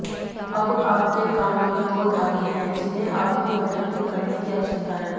अब आपके काम में दो धागे हैं जिन्हें आपको वैकल्पिक करने की आवश्यकता है